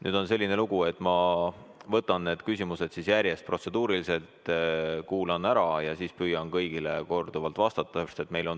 Nüüd on selline lugu, et ma võtan protseduurilised küsimused järjest ette, kuulan need ära ja siis püüan kõigile vastata.